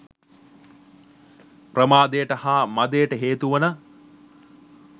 ප්‍රමාදයට හා මදයට හේතුවන